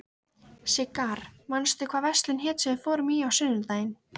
Sigarr, manstu hvað verslunin hét sem við fórum í á sunnudaginn?